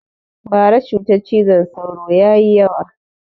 Bara cutar cizon sauro ya yi yawa